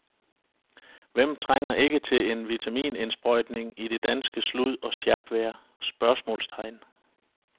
Hvem trænger ikke til en vitaminindsprøjtning i det danske slud og sjapvejr? spørgsmålstegn